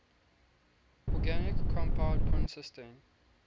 organic compound consisting